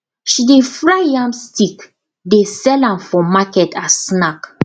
she dey fry yam stick dey sell am for market as snack